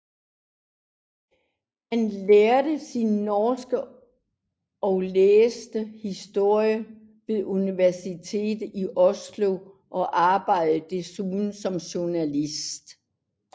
Han lærte sig norsk og læste historie ved Universitetet i Oslo og arbejdede desuden som journalist